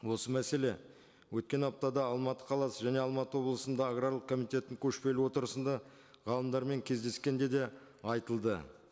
осы мәселе өткен аптада алматы қаласы және алматы облысында аграрлық комитеттің көшпелі отырысында ғалымдармен кездескенде де айтылды